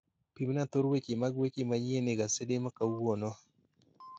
Pimna thor weche mag weche manyien egasede makawuono